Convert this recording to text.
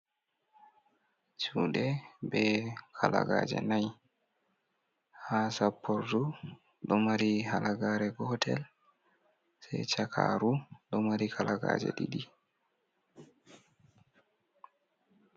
Judue be kalagaje ɗiɗi ha sappordu, ɗo mari halagare gotel je chakaru ɗo mari kalaga je ɗiɗii.